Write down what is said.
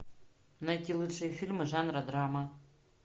найти лучшие фильмы жанра драма